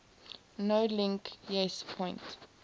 nolink yes point